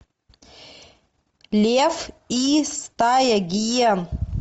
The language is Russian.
лев и стая гиен